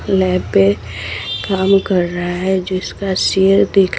lab पे काम कर रहा है जिसका सिर दिख--